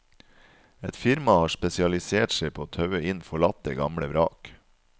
Et firma har spesialisert seg på å taue inn forlatte, gamle vrak.